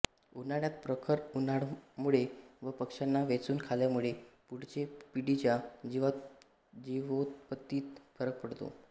उन्हाळ्यात प्रखर उन्हामुळे व पक्षांनी वेचून खाल्यामुळे पुढच्या पिढीच्या जीवोत्पत्तीत फरक पडतो